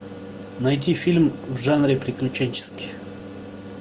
найти фильм в жанре приключенческий